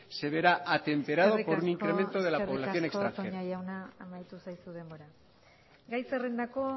se verá atemperada por un incremento de la población extranjera eskerrik asko eskerrik asko toña jauna amaitu zaizu denbora gai zerrendako